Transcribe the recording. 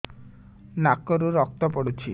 ନାକରୁ ରକ୍ତ ପଡୁଛି